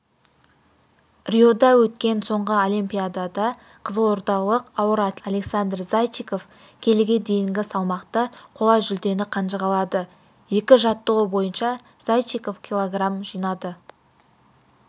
риода өткен соңғы олимпиадада қызылордалық ауыр атлет александр зайчиков келіге дейінгі салмақта қола жүлдені қанжығалады екі жаттығу бойынша зайчиков килограмм жинады